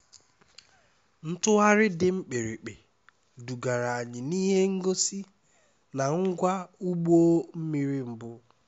ntugharị dị mkpirikpi dugara anyị n'ihe ngosi na ngwa ụgbọ mmiri mbụ